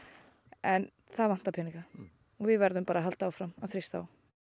en það vantar peninga og við verðum bara að halda áfram að þrýsta